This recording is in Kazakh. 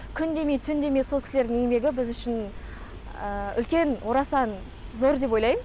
күн демей түн демей сол кісілердің еңбегі біз үшін үлкен орасан зор деп ойлайм